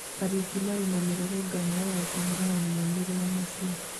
Kariuki marĩ na mĩrũrũngano ya kũhũrana na maumerĩra macio